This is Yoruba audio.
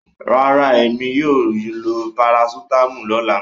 No, I will take paracetamol tommorow